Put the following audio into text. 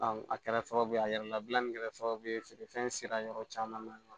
a kɛra sababu ye a yɛrɛ labilali kɛra sababu ye feere fɛn sera yɔrɔ caman na